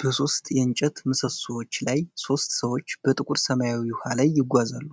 በሶስት የእንጨት ምሰሶዎች ላይ ሦስት ሰዎች በጥቁር ሰማያዊ ውሃ ላይ ይጓዛሉ።